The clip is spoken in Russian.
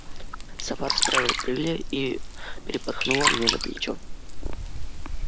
сова расправила крылья и перепорхнула мне на плечо